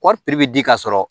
Kɔɔri piri bɛ di ka sɔrɔ